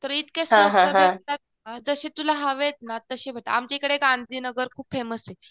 तर इतके स्वस्त मिळतात. जशी तुला हवेत ना तशे आमच्या ईकडे गांधीनगर खूप फेमस ये.